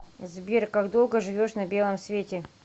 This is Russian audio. сбер как долго живешь на белом свете